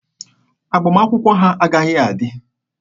Agbamakwụkwọ a agaghị adị!